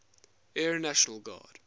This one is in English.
air national guard